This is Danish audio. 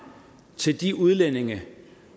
til de udlændinge